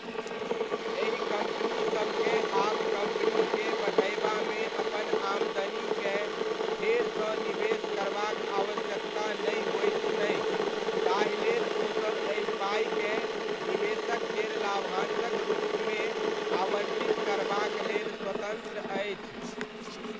एहि कम्पनीसबकेँ आब कम्पनीकेँ बढ़यबामे अपन आमदनीकेँ फेरसँ निवेश करबाक आवश्यकता नहि होइत छै, ताहिलेल ओसब एहि पाइकेँ निवेशक केर लाभांशक रूपमे आवण्टित करबाक लेल स्वतन्त्र अछि।